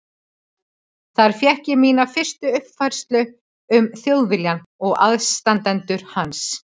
Þar fékk ég mína fyrstu uppfræðslu um Þjóðviljann og aðstandendur hans.